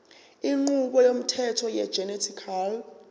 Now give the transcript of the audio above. inqubo yomthetho wegenetically